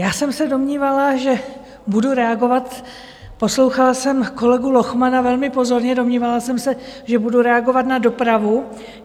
Já jsem se domnívala, že budu reagovat, poslouchala jsem kolegu Lochmana velmi pozorně, domnívala jsem se, že budu reagovat na dopravu.